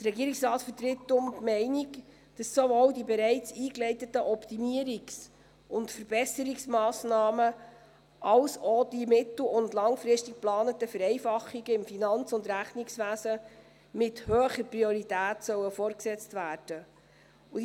Der Regierungsrat vertritt deshalb die Meinung, dass sowohl die bereits eingeleiteten Optimierungs- und Verbesserungsmassnahmen als auch die mittel- und langfristig geplanten Vereinfachungen im Finanz- und Rechnungswesen mit hoher Priorität fortgesetzt werden sollen.